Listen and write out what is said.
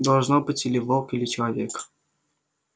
должно быть или волк или человек